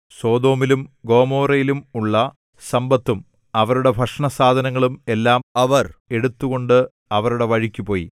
സൊദോമിലും ഗൊമോരയിലും ഉള്ള സമ്പത്തും അവരുടെ ഭക്ഷണസാധനങ്ങളും എല്ലാം അവർ എടുത്തുകൊണ്ട് അവരുടെ വഴിക്കുപോയി